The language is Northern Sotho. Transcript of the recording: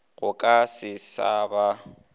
go ka se sa ba